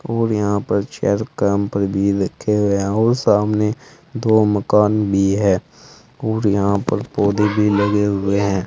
और यहां पर भी रखे हुए हैं और सामने दो मकान भी है और यहां पर पौधे भी लगे हुए हैं।